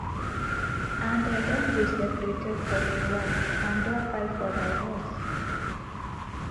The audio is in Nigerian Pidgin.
and i don dey separated for a while and don file for divorce